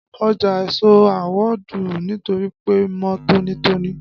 Ọjà ẹ̀so naa awọ́dù nítorí pe mọ tónítóní